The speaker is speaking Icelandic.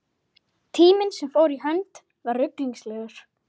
Tíminn sem fór í hönd var ruglingslegur.